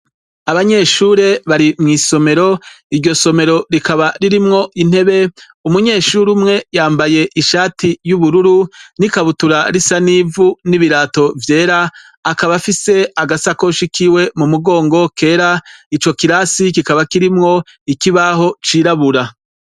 Abanyeshure bari mw'isomero iryo somero rikaba ririmwo intebe umunyeshure umwe yambaye ishati y'ubururu n'ikabutura risa n'ivu n'ibirato vyera akabafise agasakoshi kiwe mu mugongo kera ico kirasi kikaba kirimwo ikibaho cirabura.